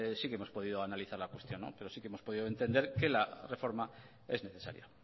sí que hemos podido analizar la cuestión pero sí que hemos podido entender que la reforma es necesaria